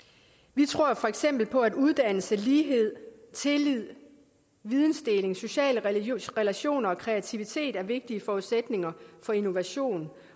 vi tror jo for eksempel på at uddannelse lighed tillid vidensdeling sociale relationer og kreativitet er vigtige forudsætninger for innovation